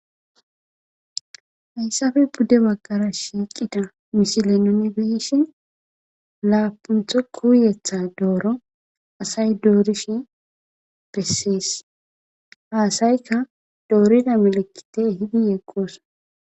hayssafe budde baggara shiiqida misilenone beeshi laapuntho kuuyetha dooro asay doorishi bessees haasayka doorida melekite hidi yeqqooso